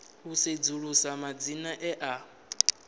u sedzulusa madzina e a